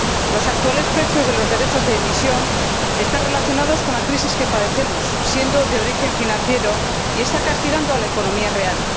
Los actuales precios de los derechos de emisión están relacionados con la crisis que padecemos, de origen financiero, y están castigando a la economía real.